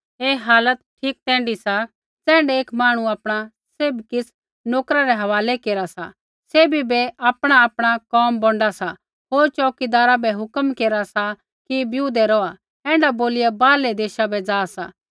ऐ हालत ठीक तैण्ढी सा ज़ैण्ढै एक मांहणु आपणा सैभ किछ़ नोकरा रै हवालै केरा सा सैभी बै आपणाआपणा कोम बौंडा सा होर च़ोऊकीदारा बै हुक्म केरा सा कि बिऊदै रौहा ऐण्ढा बोलिया बाहरलै देशा बै जा सा